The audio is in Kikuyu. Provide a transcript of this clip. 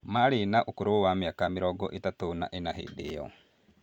Maarĩ na ũkũrũ wa mĩaka mĩrongo ĩtatũ na ĩna hĩndĩ ĩyo